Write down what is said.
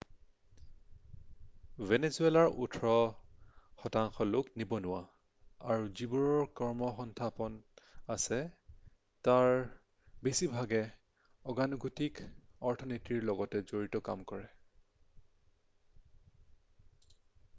ভেনিজুৱালাৰ ওঠৰ শতাংশ লোক নিবনুৱা আৰু যিবোৰৰ কৰ্মসংস্থাপন আছে তাৰ বেছিভাগেই অগতানুগতিক অৰ্থনীতিৰ লগত জড়িত কাম কৰে